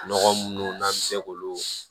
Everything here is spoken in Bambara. Nɔgɔ munnu n'an bɛ se k'olu